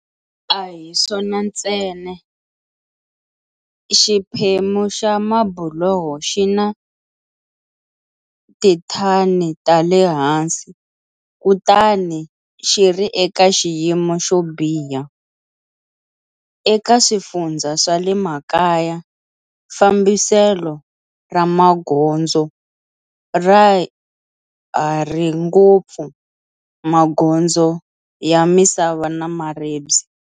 A hi swona ntsena, xiphemu xa mabuloho xina tithani tale hansi kutani xiri eka xiyimo xo biha. Eka swifundzha swa le makaya, fambiselo ra magondzo ra ha ri ngopfu magondzo ya misava na maribye.